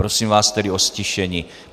Prosím vás tedy o ztišení.